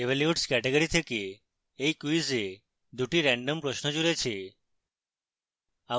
evolutes category থেকে এই quiz এ দুটি রেন্ডম প্রশ্ন জুড়েছে